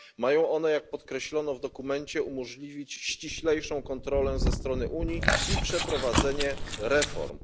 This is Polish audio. Mają one, jak podkreślono w dokumencie, umożliwić ściślejszą kontrolę ze strony Unii i przeprowadzenie reform.